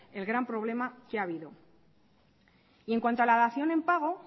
el gran problema que ha habido y en cuanto a la dación en pago